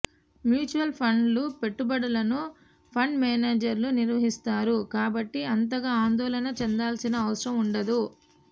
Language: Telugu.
మ్యూచువల్ ఫండ్ల పెట్టుబడులను ఫండ్ మేనేజర్లు నిర్వహిస్తారు కాబట్టి అంతగా ఆందోళన చెందాల్సిన అవసరం ఉండదు